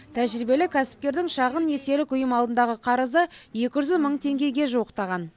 тәжірибелі кәсіпкердің шағын несиелік ұйым алдындағы қарызы екі жүз мың теңгеге жуықтаған